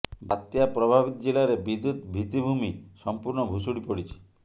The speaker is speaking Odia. ବାତ୍ୟା ପ୍ରଭାବିତ ଜିଲ୍ଲାରେ ବିଦ୍ୟୁତ୍ ଭିତ୍ତିଭୂମି ସଂପୂର୍ଣ୍ଣ ଭୁଶୁଡ଼ି ପଡ଼ିଛି